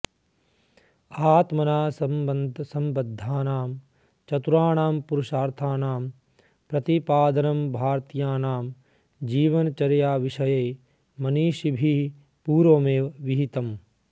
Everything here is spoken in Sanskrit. आत्मना सम्बद्धानां चतुर्ण्णां पुरुषार्थानां प्रतिपादनं भारतीयानां जीवनचर्याविषये मनीषिभिः पूर्वमेव विहितम्